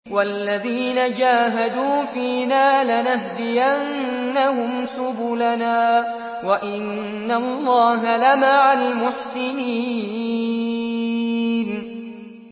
وَالَّذِينَ جَاهَدُوا فِينَا لَنَهْدِيَنَّهُمْ سُبُلَنَا ۚ وَإِنَّ اللَّهَ لَمَعَ الْمُحْسِنِينَ